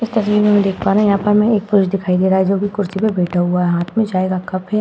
इस तस्वीर में हम देख पा रहे हैं यहाँ पर हमें एक पुरुष दिखाई दे रहा है जो कुर्सी पर बैठा हुआ है हाथ में चाय का कप है।